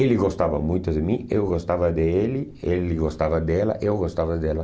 Ele gostava muito de mim, eu gostava dele, ele gostava dela, eu gostava dela.